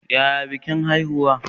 Yaya bikin haihuwa?